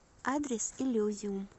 адрес иллюзиум